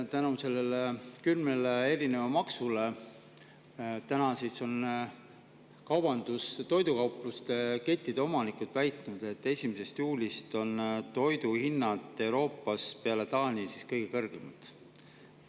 Nende kümne maksu tõttu on toidukauplusekettide omanikud väitnud, et 1. juulist on Eesti Taani järel kõige kõrgemate toiduhindadega riik Euroopas.